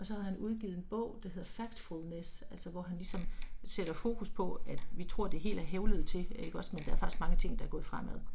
Og så har han udgivet en bog der hedder Factfulness altså hvor han ligesom sætter fokus på at vi tror det er helt ad helvede til ikke også, men der er faktisk mange ting der er gået fremad